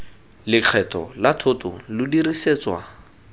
lekgetho la thoto lo dirisetswa